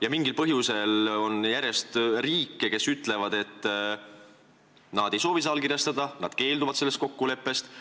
Ja mingil põhjusel on järjest riike, kes ütlevad, et nad ei soovi seda allkirjastada, nad keelduvad sellest kokkuleppest.